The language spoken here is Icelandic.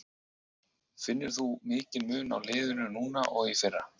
Finnur þú mikinn mun á liðinu núna og í fyrra?